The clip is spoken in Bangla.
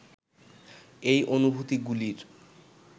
এই অনুভূতিগুলির